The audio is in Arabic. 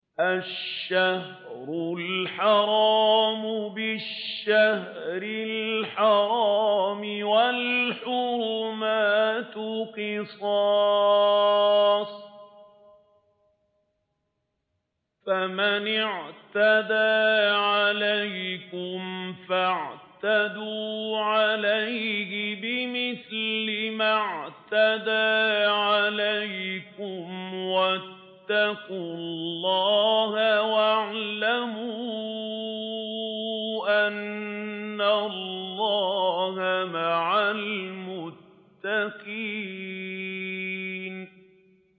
الشَّهْرُ الْحَرَامُ بِالشَّهْرِ الْحَرَامِ وَالْحُرُمَاتُ قِصَاصٌ ۚ فَمَنِ اعْتَدَىٰ عَلَيْكُمْ فَاعْتَدُوا عَلَيْهِ بِمِثْلِ مَا اعْتَدَىٰ عَلَيْكُمْ ۚ وَاتَّقُوا اللَّهَ وَاعْلَمُوا أَنَّ اللَّهَ مَعَ الْمُتَّقِينَ